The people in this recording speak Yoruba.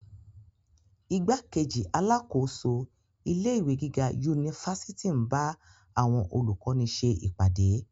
Igbákejì alákòóso ilé ìwé gíga unifásitì n ba awọn olukọni ṣe ipade.